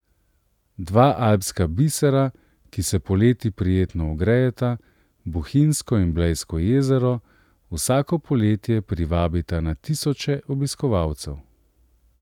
Dva alpska bisera, ki se poleti prijetno ogrejeta, Bohinjsko in Blejsko jezero, vsako poletje privabita na tisoče obiskovalcev.